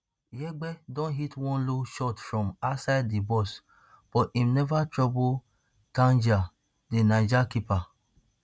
yegbe don hit one low shot from outside di box but im neva trouble tandja di niger keeper